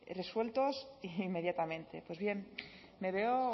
resueltos inmediatamente pues bien me veo